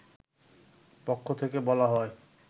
পক্ষ থেকে বলা হয়